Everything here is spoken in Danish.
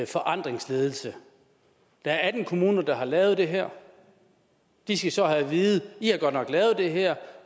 forandringsledelse der er atten kommuner der har lavet det her de skal så have at vide i har godt nok lavet det her